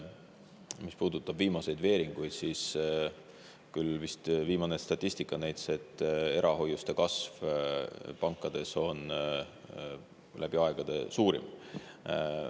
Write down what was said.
Mis puudutab viimaseid veeringuid, siis viimane statistika küll vist näitas, et erahoiuste kasv pankades on läbi aegade suurim.